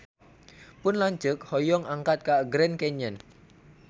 Pun lanceuk hoyong angkat ka Grand Canyon